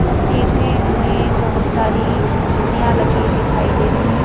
तस्वीर में हमें बहुत सारी कुर्सियां लगी दिखाई दे रही हैं।